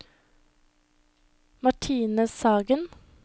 Martine Sagen